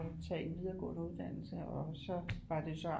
Tage en videregående uddannelse og så var det så